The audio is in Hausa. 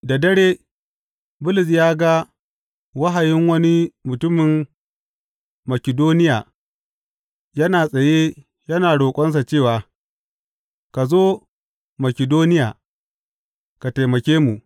Da dare Bulus ya ga wahayin wani mutumin Makidoniya yana tsaye yana roƙonsa cewa, Ka zo Makidoniya ka taimake mu.